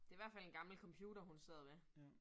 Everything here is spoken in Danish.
Det i hvert fald en gammel computer, hun sidder ved